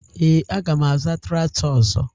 Ee, aga m azụta traktọ ọzọ